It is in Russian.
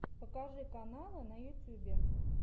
покажи каналы в ютьюбе